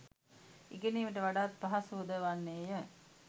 ඉගෙනීමට වඩාත් පහසු ද වන්නේ ය.